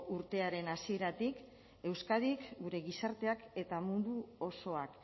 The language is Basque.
urtearen hasieratik euskadik gure gizarteak eta mundu osoak